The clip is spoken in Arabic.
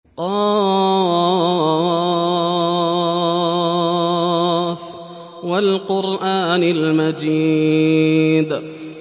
ق ۚ وَالْقُرْآنِ الْمَجِيدِ